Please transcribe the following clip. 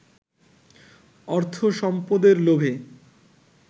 অর্থ সম্পদের লোভে